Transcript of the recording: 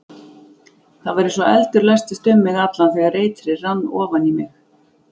Það var eins og eldur læstist um mig allan þegar eitrið rann ofan í mig.